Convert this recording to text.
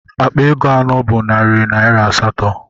Akpa ego anọ bụ narị naira asatọ.